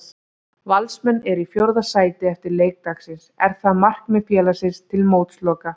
Valsmenn eru í fjórða sæti eftir leiki dagsins, er það markmið félagsins til mótsloka?